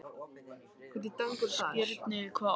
Skírnir, hvað er á innkaupalistanum mínum?